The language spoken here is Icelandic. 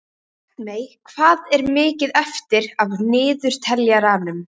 Bjartmey, hvað er mikið eftir af niðurteljaranum?